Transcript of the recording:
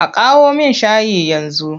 A kawo min shayi yanzu!